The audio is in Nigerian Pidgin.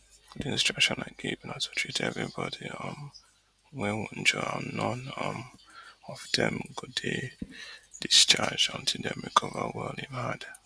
di instruction i give na to treat treat evri body um wey wunjure and none um of dem go dey discharged until dem recover well im add